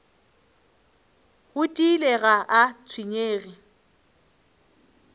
go tiile ga a tshwenyege